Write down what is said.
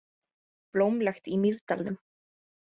Blómlegt í Mýrdalnum